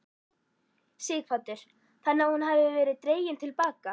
Sighvatur: Þannig að hún hefur verið dregin til baka?